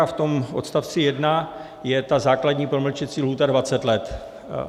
A v tom odst. 1 je ta základní promlčecí lhůta 20 let.